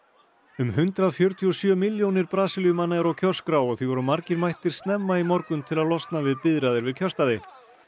um hundrað fjörutíu og sjö milljónir Brasilíumanna eru á kjörskrá og því voru margir mættir snemma í morgun til að losna við biðraðir við kjörstaði